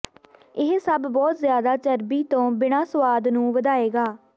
ਇਹ ਸਭ ਬਹੁਤ ਜ਼ਿਆਦਾ ਚਰਬੀ ਤੋਂ ਬਿਨਾ ਸੁਆਦ ਨੂੰ ਵਧਾਏਗਾ